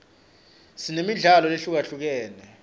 sinemidlalo lehlukahlukene